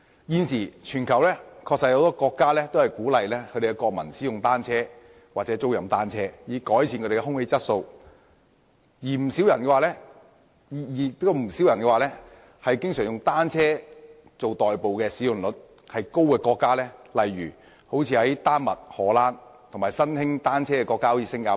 現時全球確實有很多國家鼓勵國民使用或租賃單車，以改善空氣質素，而不少人也經常以單車代步率高的國家作比較，例如丹麥、荷蘭，以及新興使用單車的國家如新加坡。